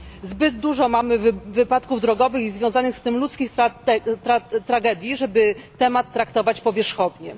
Zbyt dużo mamy wypadków drogowych i związanych z tym ludzkich tragedii, żeby temat traktować powierzchownie.